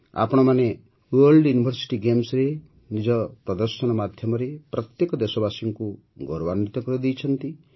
ଆପଣମାନେ world university ଗେମ୍ସରେ ନିଜ ପ୍ରଦର୍ଶନ ମାଧ୍ୟମରେ ପ୍ରତ୍ୟେକ ଦେଶବାସୀକୁ ଗୌରବାନ୍ୱିତ କରିଦେଇଛନ୍ତି